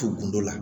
Tumu kun dɔ la